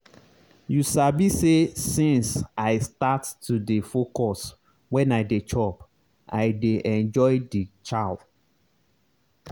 you sabi say since i start to dey focus when i dey chop i dey enjoy the chow.